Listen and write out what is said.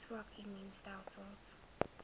swak immuun stelsels